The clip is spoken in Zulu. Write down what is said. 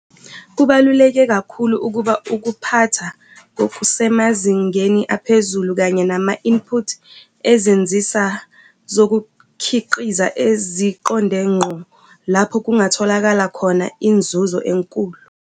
Kubaluleke kakhulu ukuba ukuphatha ngokusemazingeni aphezulu kanye nama-input ezinsiza zokukhiqiza eziqonde ngqo lapho kungatholakala khona inzuzo enkulu.